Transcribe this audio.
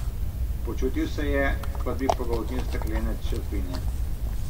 Počutil se je, kot bi pogoltnil steklene črepinje.